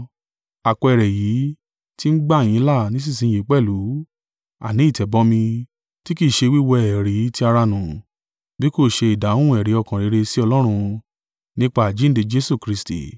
Àpẹẹrẹ èyí ti ń gbà yín là nísinsin yìí pẹ̀lú, àní ìtẹ̀bọmi, kì í ṣe wíwẹ́ èérí ti ara nù, bí kò ṣe ìdáhùn ẹ̀rí ọkàn rere si Ọlọ́run, nípa àjíǹde Jesu Kristi.